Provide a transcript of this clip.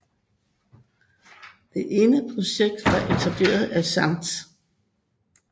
Det ene projekt var etableringen af Skt